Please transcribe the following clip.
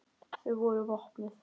Þau voru vopnuð.